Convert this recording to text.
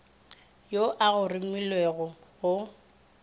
yo a go romilego go